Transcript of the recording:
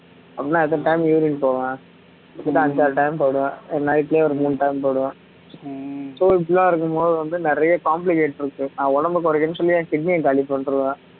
அப்படின்னா எத்தனை time urine போவேன் இப்பத்தான் அஞ்சாறு time போயிடுவேன் night லயே ஒரு மூணு time போயிடுவேன் so இப்படி எல்லாம் இருக்கும் போது வந்து நிறைய complicate இருக்கு நான் உடம்பை குறைக்குறேன்னு சொல்லி என் kidney அ காலி பண்ணிடுவேன்